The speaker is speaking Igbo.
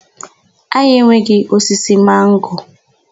Anyị enweghị osisi mango.